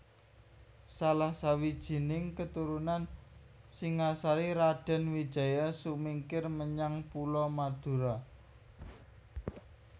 Salah sawijining keturunan Singasari Raden Wijaya sumingkir menyang Pulo Madura